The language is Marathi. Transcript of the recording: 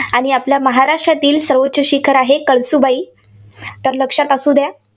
आणि आपल्या महाराष्ट्रातील सर्वोच्च शिखर आहे, कळसुबाई. तर लक्षात असुद्या.